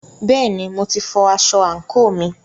Bẹ́ẹ̀ni, mo ti fọ aṣọ àǹkóò mi.